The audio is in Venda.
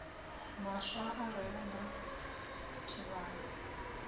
maswa a re na tshivhalo